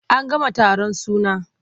An gama taron suna.